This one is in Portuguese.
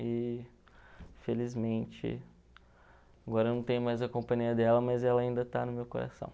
E, felizmente, agora eu não tenho mais a companhia dela, mas ela ainda está no meu coração.